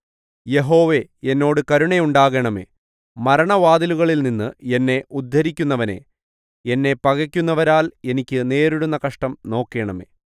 യഹോവേ എന്നോട് കരുണയുണ്ടാകണമേ മരണവാതിലുകളിൽനിന്ന് എന്നെ ഉദ്ധരിക്കുന്നവനേ എന്നെ പകയ്ക്കുന്നവരാൽ എനിക്ക് നേരിടുന്ന കഷ്ടം നോക്കണമേ